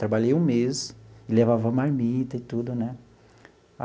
Trabalhei um mês, levava marmita e tudo, né?